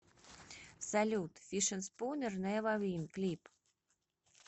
салют фишерспунер невер вин клип